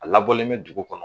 A labɔlen bɛ dugu kɔnɔ